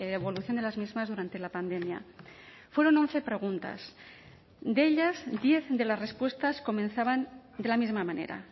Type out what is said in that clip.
evolución de las mismas durante la pandemia fueron once preguntas de ellas diez de las respuestas comenzaban de la misma manera